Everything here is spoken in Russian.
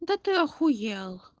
да ты ахуел